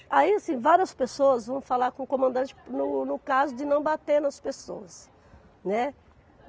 Aí, assim, várias pessoas vão falar com o comandante no no caso de não bater nas pessoas, né?